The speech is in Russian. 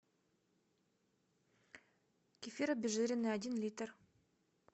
кефир обезжиренный один литр